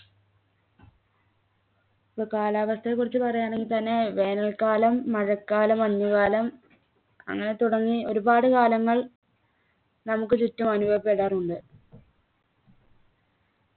ഇപ്പൊ കാലാവസ്ഥയെക്കുറിച്ച് പറയുകയാണെങ്കിൽ തന്നെ വേനൽക്കാലം മഴക്കാലം മഞ്ഞുകാലം അങ്ങനെ തുടങ്ങി ഒരുപാട് കാലങ്ങൾ നമ്മുക്ക് ചുറ്റും അനുഭവപ്പെടാറുണ്ട്